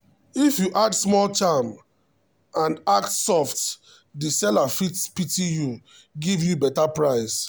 if you add small charm and act soft the seller fit pity you give you better price.